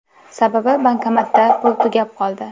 Sababi bankomatda pul tugab qoldi.